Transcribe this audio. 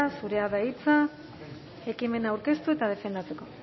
zurea da hitza ekimena aurkeztu eta defendatzeko